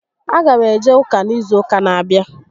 A gam eje ụka n'izu ụka n'abịa